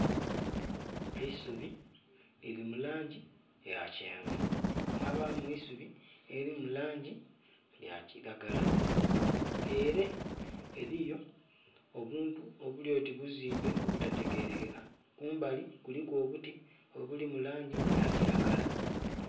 Eisubi lili mu langi ya kyenvu mwabamu eisubi elili mu langi ya kilagala. Ele eliyo obuntu obuli oti buzimbe obutategerekeka, ku mbali kuliku obuti obuli mu langi ya kilagala.